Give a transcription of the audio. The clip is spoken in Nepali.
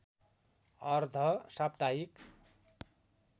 अर्ध साप्ताहिक